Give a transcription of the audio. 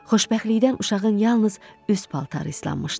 Xoşbəxtlikdən uşağın yalnız üst paltarı islanmışdı.